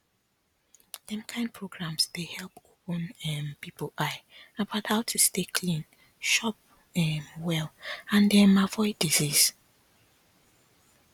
dem kind programs dey help open um people eye about how to stay clean chop um well and um avoid disease